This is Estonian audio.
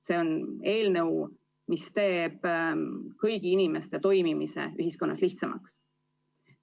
See on eelnõu, mis teeb kõigi inimeste toimimise ühiskonnas lihtsamaks.